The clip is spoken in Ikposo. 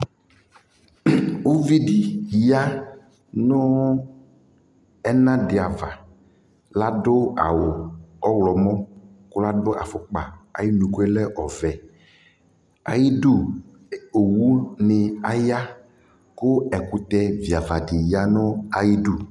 Uvi ya nʋ ɛna dɩ ava Adʋ awʋ ɔɣlɔmɔ kʋ adʋ afʋkpa ayʋ unuku yɛ lɛ ɔvɛ Ayidu owunɩ aya kʋ ɛkʋtɛviava dɩ ya nʋ ayidu